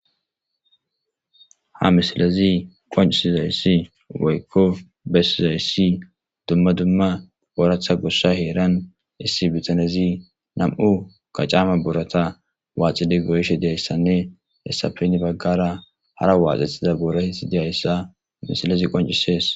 Ha misilezi qoncisi zayssi waykko bessizayssi dumma dumma booratha gossa heeran issi bitanezi nam'u kacama boorata waaxidi goyishe deyayssanne hessapeni baggara hara waaxethiza boora hixi deyayssa misilezi qoncisees.